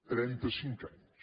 trenta cinc anys